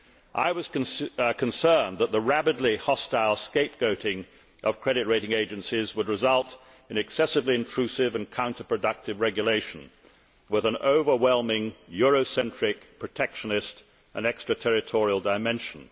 I was concerned that the rabidly hostile scapegoating of credit rating agencies would result in excessively intrusive and counter productive regulation, with an overwhelming Eurocentric, protectionist and extraterritorial dimension.